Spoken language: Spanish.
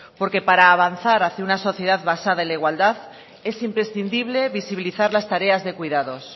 porque para avanzar hacia una sociedad basada en la igualdad es imprescindible visibilizar las tareas de cuidados